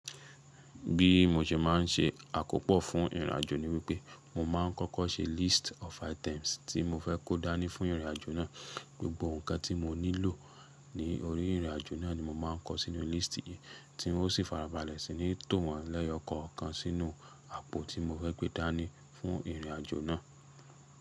Bí mo ṣe má n se àkópò fún ìrìnàjò ni wípé, mo ma ń kọ́kọ́ se list of items tí mo fẹ́ kó dáni fún ìrìnàjò náà. Gbogbo ǹkan tí mo nílò ní orí ìrìnàjò náà ni mo máa ń kọ sínú lístì yìí, tí hún ó sì farabalẹ̀ sì ní tòrán lẹ́yọ kọ̀ọ̀kan sínú àpò tí mo fẹ́ gbé dáni fún ìrìnàjò náà.